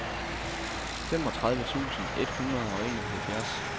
femogtredive tusind et hundrede og enoghalvfjerds